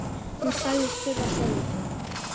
Hún sagðist þurfa svo lítið.